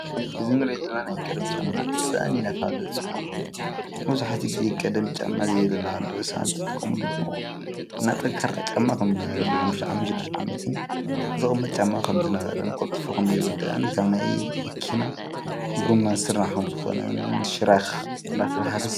እዚ እንሪኦ ዘለና ናይ ቀደም ጫማ ሳእኒ እናተባሃለ ዝፅዋዕ ኮይኑ፣ መብዛሕትኡ ግዜ ቀደም ጨማ ዝጥቀምሉ ዝነበሩ እና ጠንካራ ጫማ ንሓሙሽተ ዓመት ንሽድሽተ ዓመት ዝቅመጥ ጫማ ከም ዝነበረን ቀልጢፉ ከም ዘይውዳእን ካብ ናይ መኪና ጎማ ዝስራሕ ኮይኑ ሽራኽ እናተባሃለ ዝፅዋዕ እዩ፡፡